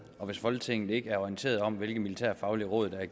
hvis folketinget ikke er orienteret om hvilke militærfaglige råd der er